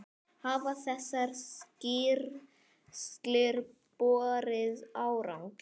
Hafa þessar skýrslur borið árangur?